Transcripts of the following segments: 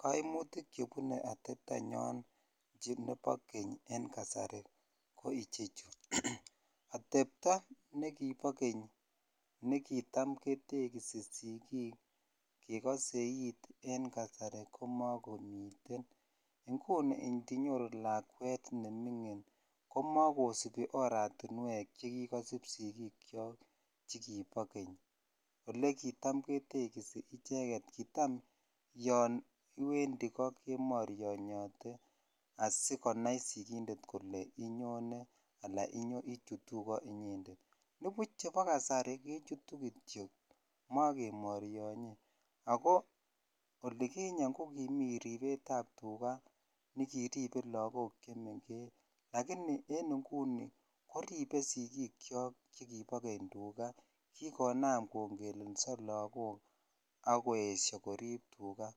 koimutik chebune atepto nyoon che ndo bo keny en kasari ko ichechu, otepto negibo keny negitaam ketegisi sigiik kegoseiit en kasarii komagomiiteen, inguni ndinyoru lakweet nemingiin komagosubii oratinweek chegigosuub sigiik kyook chegibo keny ole kitaam ketegisi icheget, kitaam yoon iwendii kemoronyenote asigonaai sigindeet kole inyone anan ichutuu koo inyendet, ndibuuch chebo kasarii kochutu kityo mogemoryonyee agoo oliginyeen kogimiten ribeet ab tugaa olegiribee lagook chemengech lagini en inguni koribe sigiik kyook tuga, kigonaam kongeleso lagook agoesyoo koriib tugaa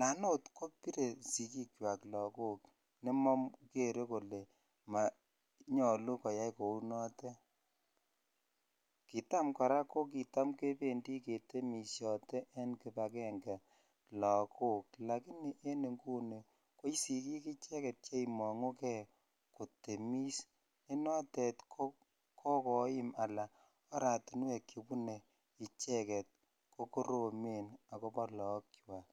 naan oot kobire sigiik kywaak lagook nemogere kole monyolu koyaai kouu noteet, kiitam koraa kogitaam kebendii ketemisyote lagook lagini en inguni ko sigiik icheget cheimongugee kotemis ne noteet kogoim anan oratinweek chebune icheget kogoromeen agobo loog chwaak.